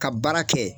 Ka baara kɛ